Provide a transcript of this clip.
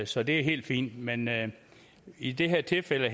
så det er helt fint men men i det her tilfælde